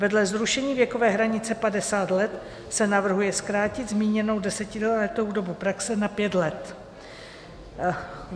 Vedle zrušení věkové hranice 50 let se navrhuje zkrátit zmíněnou desetiletou dobu praxe na pět let.